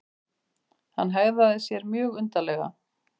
Hann hegðaði sér mjög undarlega.